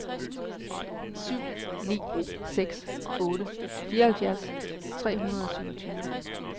syv ni seks otte fireoghalvfjerds tre hundrede og syvogtyve